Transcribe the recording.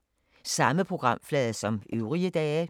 Samme programflade som øvrige dage